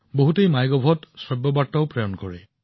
বহুলোকে মাইগভত অডিঅ বাৰ্তাও প্ৰেৰণ কৰে